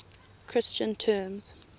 christian terms